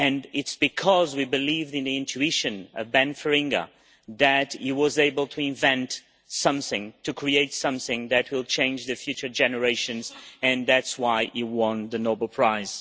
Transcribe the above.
It is because we believed in the intuition of Ben Feringa that he was able to invent something, to create something, that will change life for future generations, and that is why he won the Nobel Prize.